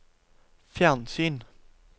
fjernsyn